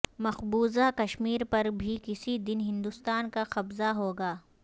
مقبوضہ کشمیر پر بھی کسی دن ہندوستان کا قبضہ ہوگا